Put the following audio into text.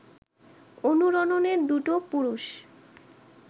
অনুরণনের দুটো পুরুষ